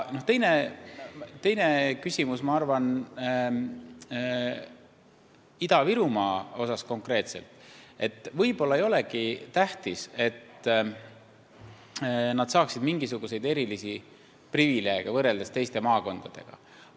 Ma arvan, et Ida-Virumaal konkreetselt võib-olla ei olegi tähtis, et nad saaksid mingisuguseid erilisi privileege teiste maakondadega võrreldes.